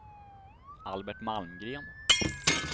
Albert Malmgren